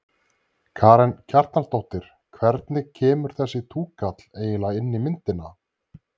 Karen Kjartansdóttir: Hvernig kemur þessi túkall eiginlega inn í myndina?